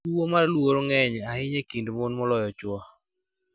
Tuwo mar luoro ng�eny ahinya e kind mon moloyo chwo.